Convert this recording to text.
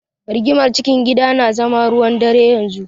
Rigimar cikin gida na zama ruwan-dare yanzu.